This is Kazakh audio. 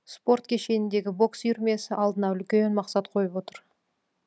спорт кешеніндегі бокс үйірмесі алдына үлкен мақсат қойып отыр